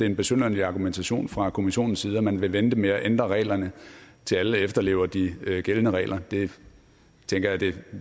lidt besynderlig argumentation fra kommissionens side at man vil vente med at ændre reglerne til alle efterlever de gældende regler jeg tænker det